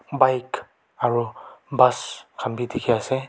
bike aru bus khan bi dikhi ase.